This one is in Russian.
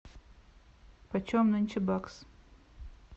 почем нынче бакс